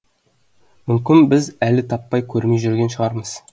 мүмкін біз әлі таппай көрмей жүрген шығармыз